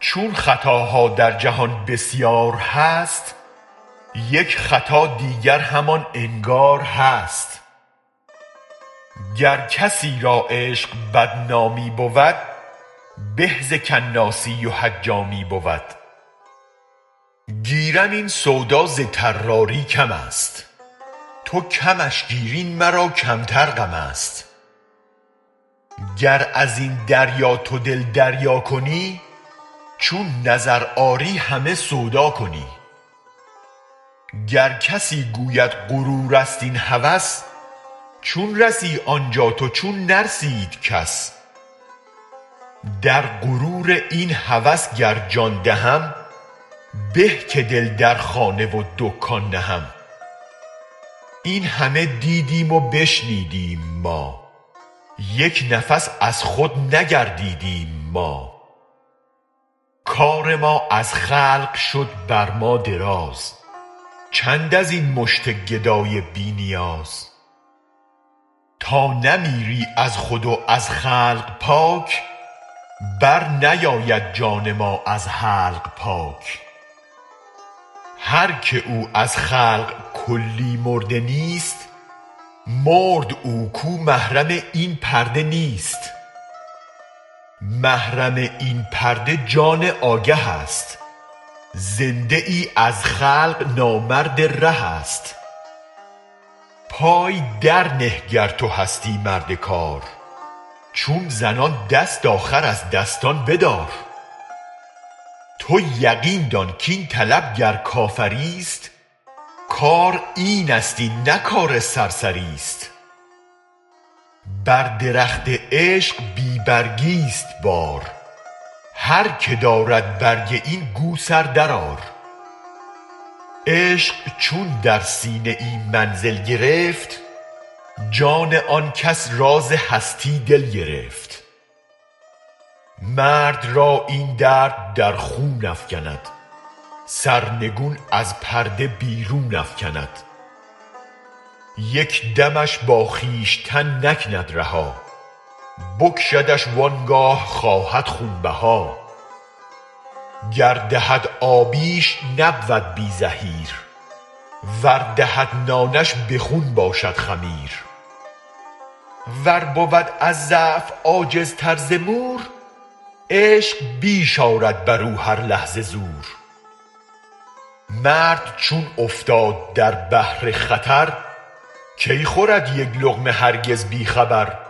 چون خطاها در جهان بسیار هست یک خطا دیگر همان انگار هست گر کسی را عشق بدنامی بود به ز کناسی و حجامی بود گیرم این سودا ز طراری کم است تو کمش گیر این مرا کمتر غم است گر ازین دریا تو دل دریا کنی چون نظر آری همه سودا کنی گر کسی گوید غرورست این هوس چون رسی آن جا تو چون نرسید کس در غرور این هوس گر جان دهم به که دل در خانه و دکان نهم این همه دیدیم و بشنیدیم ما یک نفس از خود نگردیدیم ما کار ما از خلق شد بر ما دراز چند ازین مشت گدای بی نیاز تا نمیری از خود و از خلق پاک بر نیاید جان ما از حلق پاک هرک او از خلق کلی مرده نیست مرد او کو محرم این پرده نیست محرم این پرده جان آگه است زنده ای از خلق نامرد ره است پای در نه گر تو هستی مرد کار چون زنان دست آخر از دستان بدار تو یقین دان کین طلب گر کافری ست کار این ست این نه کار سرسری ست بر درخت عشق بی برگی ست بار هرک دارد برگ این گو سر درآر عشق چون در سینه منزل گرفت جان آن کس راز هستی دل گرفت مرد را این درد در خون افکند سرنگون از پرده بیرون افکند یک دمش با خویشتن نکند رها بکشدش وانگاه خواهد خون بها گر دهد آبیش نبود بی زحیر ور دهد نانش به خون باشد خمیر ور بود از ضعف عاجزتر ز مور عشق بیش آرد برو هر لحظه زور مرد چون افتاد در بحر خطر کی خورد یک لقمه هرگز بی خبر